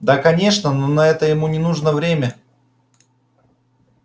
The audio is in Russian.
да конечно но на это ему не нужно время